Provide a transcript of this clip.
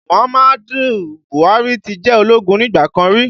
Muhammadu Buhari ti jẹ́ ológun nígbà kan rí